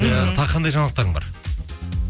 иә тағы қандай жаңалықтарың бар